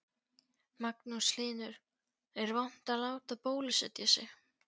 Magnús Hlynur: Er vont að láta bólusetja sig?